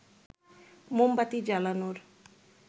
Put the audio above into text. মোমবাতি জ্বালানোর